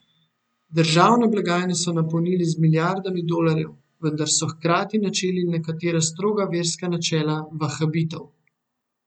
Državne blagajne so napolnili z milijardami dolarjev, vendar so hkrati načeli nekatera stroga verska načela vahabitov.